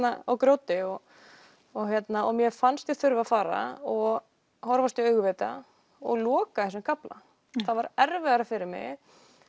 og grjóti mér fannst ég þurfa að fara og horfast í augu við þetta og loka þessum kafla það var erfiðara fyrir mig